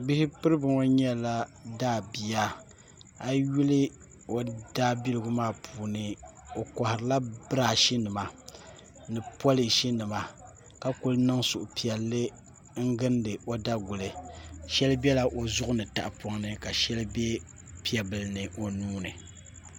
Bihi piribi ŋo nyɛla daabia a yi yuli o daabiligu maa puuni o koharila birash nima ni polish nima ka kuli niŋ suhupiɛlli n gindi o daguli shɛli biɛla o zuɣuni tahapoŋni ka shɛli bɛ piɛ bili ni o nuuni